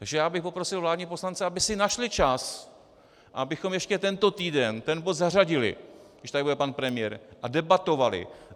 Takže já bych poprosil vládní poslance, aby si našli čas, abychom ještě tento týden ten bod zařadili, když tady bude pan premiér, a debatovali.